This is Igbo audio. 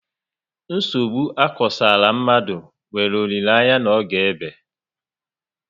Nsogbu akosara mmadụ nwere olileanya n'oge ébé